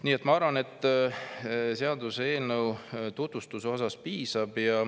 Nii et ma arvan, et seaduseelnõu tutvustusest piisab.